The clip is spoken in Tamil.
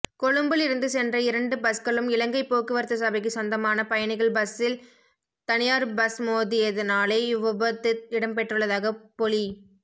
கொழும்பிலிருந்து சென்ற இரண்டு பஸ்களும் இலங்கை போக்குவரத்து சபைக்கு சொந்தமான பயணிகள் பஸ்லில் தனியார் பஸ் மோதியதினாலே இவ்விபத்துஇடம்பெற்றுள்ளதாகபொலி